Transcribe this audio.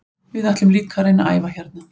Við ætlum líka að reyna að æfa hérna.